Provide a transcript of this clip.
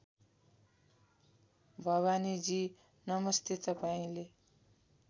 भवानीजी नमस्ते तपाईँले